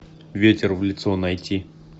ветер в лицо найти